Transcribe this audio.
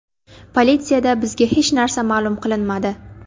Politsiyada bizga hech narsa ma’lum qilinmadi.